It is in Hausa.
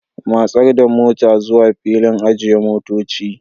Matsar da motar zuwa filin ajiye motoci.